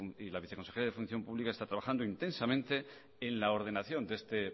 y la viceconsejera de función pública están trabajando intensamente en la ordenación de este